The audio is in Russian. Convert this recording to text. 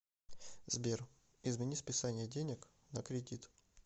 сбер измени списание денег на кредит